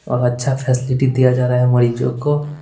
और अच्छा फैसिलिटी दिया जा रहा है मरीजों को--